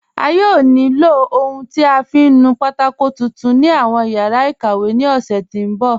A yóò ní ilọ ohun tí a fiń nù pátákò titun ni awọn yara ikàwé ni ọ̀ṣẹ ti nbọ̀.